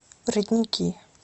родники